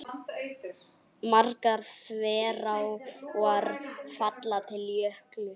Margar þverár falla til Jöklu.